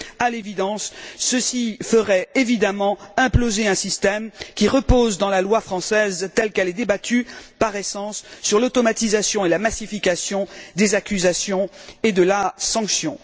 À l'évidence, ceci ferait évidemment imploser un système qui repose, dans la loi française telle qu'elle est débattue, par essence, sur l'automatisation et la massification des accusations et de la sanction.